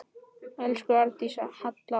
Elsku Arndís Halla okkar.